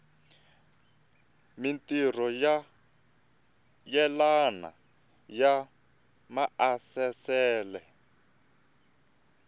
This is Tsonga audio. mintirho yo yelana ya maasesele